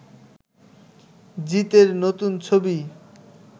জিতের নতুন ছবি